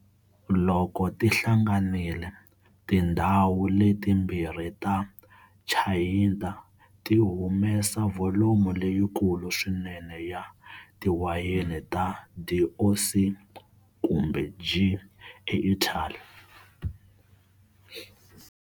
Loko ti hlanganile, tindzhawu letimbirhi ta Chianti ti humesa volume leyikulu swinene ya tiwayeni ta DOC kumbe G eItaly.